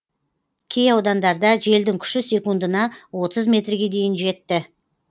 кей аудандарда желдің күші секундына отыз метрге дейін жетті